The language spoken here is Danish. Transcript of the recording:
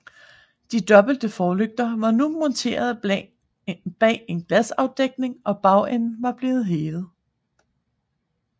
De dobbelte forlygter var nu monteret bag en glasafdækning og bagenden var blevet hævet